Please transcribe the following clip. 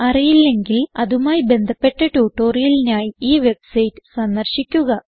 അറിയില്ലെങ്കിൽ അതുമായി ബന്ധപ്പെട്ട ട്യൂട്ടോറിയലിനായി ഈ വെബ്സൈറ്റ് സന്ദർശിക്കുക